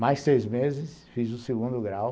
Mais seis meses, fiz o segundo grau.